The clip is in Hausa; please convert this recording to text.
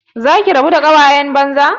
Za ki rabu da ƙawayen banza?